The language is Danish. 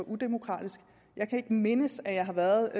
udemokratisk jeg kan ikke mindes at jeg har været